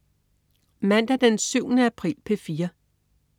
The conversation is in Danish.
Mandag den 7. april - P4: